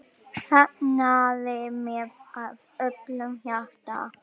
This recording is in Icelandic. Fagnaði með af öllu hjarta.